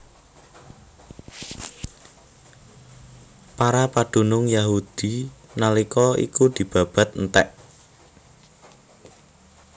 Para padunung Yahudi nalika iku dibabat entèk